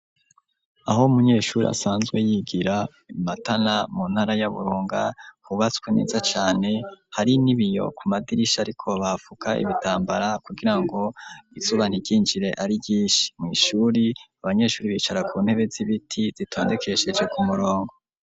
Aho umunyeshure asanzwe yigira imatana mu ntara y'aburunga hubatswe neza cane hari nibiyo ku madirisha ariko bafuka ibitambara kugira ngo izuba ntiryinjire ari ryinshi mw'ishure abanyeshure bicara ku ntebe z'ibiti zitondekesheje ku murongo.